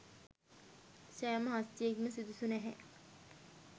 සෑම හස්තියෙක්ම සුදුසු නැහැ.